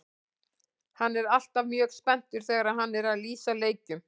Hann er alltaf mjög spenntur þegar hann er að lýsa leikjum.